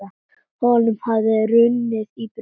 Honum hafði runnið í brjóst.